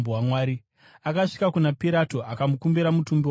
Asvika kuna Pirato, akakumbira mutumbi waJesu.